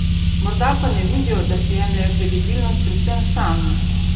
Morda pa ne vidijo, da si jemljejo kredibilnost predvsem sami?